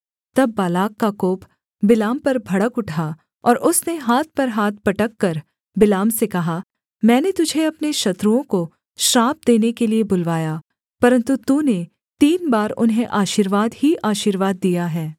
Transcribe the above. तब बालाक का कोप बिलाम पर भड़क उठा और उसने हाथ पर हाथ पटककर बिलाम से कहा मैंने तुझे अपने शत्रुओं को श्राप देने के लिये बुलवाया परन्तु तूने तीन बार उन्हें आशीर्वाद ही आशीर्वाद दिया है